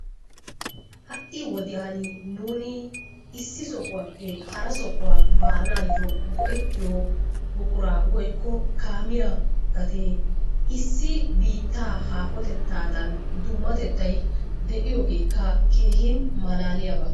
Ha'i wodiyan nuuni issi sohuwappe hara sohuwa baanaayyo go'ettiyo buquraa woykko kaamiya gatee issi biittaa haahotettaadan dummatettay de'iyogeekka keehin malaaliyaba.